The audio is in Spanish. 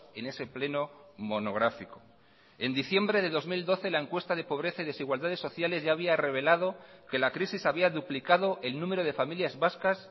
en ese pleno monográfico en diciembre de dos mil doce la encuesta de pobreza y desigualdades sociales ya había revelado que la crisis había duplicado el número de familias vascas